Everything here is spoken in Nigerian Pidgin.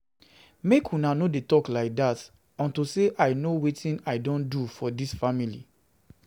Make una no dey talk like dat unto say I know wetin I don do for dis family